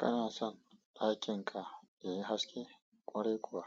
Kana son ɗakin ka yayi haske? Ƙwarai kuwa